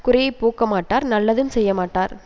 குறையைப் போக்கமாட்டார் நல்லதும் செய்யமாட்டார்